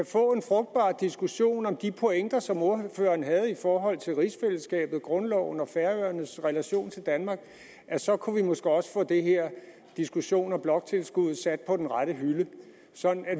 få en frugtbar diskussion om de pointer som ordføreren havde i forhold til rigsfællesskabet og grundloven og færøernes relation til danmark så kunne vi måske også få den her diskussion af bloktilskuddet sat på den rette hylde så